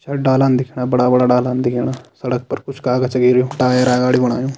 छड़ डालान दिखेणा बड़ा बड़ा डालान दिखेणा सड़क पर कुछ कागज गिर्युं टायरा अगाड़ी बणायों।